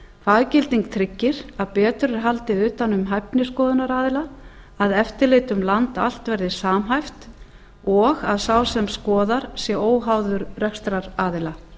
faggilding tryggir að betur er haldið utan um hæfni skoðunaraðila að eftirlit um land allt verði samhæft og að sá sem skoðar sé óháður rekstraraðila